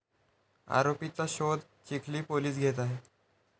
आरोपीचा शोध चिखली पोलीस घेत आहेत.